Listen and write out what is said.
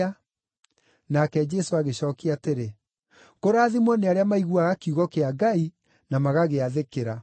Nake Jesũ agĩcookia atĩrĩ, “Kũrathimwo nĩ arĩa maiguaga kiugo kĩa Ngai na magagĩathĩkĩra.”